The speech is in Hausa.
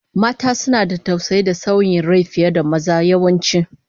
Mata suna da tausayi da sanyin rai fiye da maza, yawanci